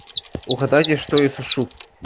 угадайте что я сушу